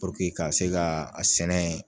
ka se ka a sɛnɛ